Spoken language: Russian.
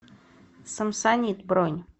самсонит бронь